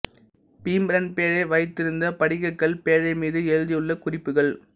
பீம்ரன் பேழை வைத்திருந்த படிகக்கல் பேழை மீது எழுதியுள்ள குறிப்புகள்